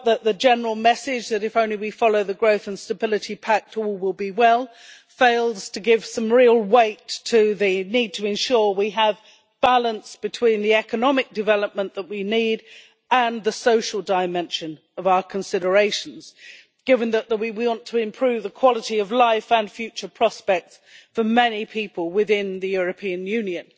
We felt that the general message that if only we follow the Growth and Stability Pact all will be well, fails to give some real weight to the need to ensure we have balance between the economic development that we need and the social dimension of our considerations, given that we want to improve the quality of life and future prospects for many people within the European Union.